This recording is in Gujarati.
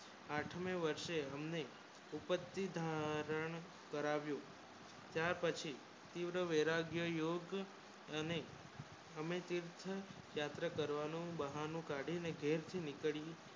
આઠમાં વર્ષે હમને ઉપધી ધોરણ કરાવ્યું ત્યાં પછી તીવ્ર વૈરાગ્ય યોગ અને હમે તીવ્ર રાત કરવાનું બહાનું કાડી વર્થ નિકલ